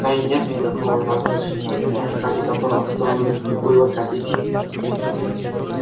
да и нет никакого завтрашнего дня ради которого стоило бы копить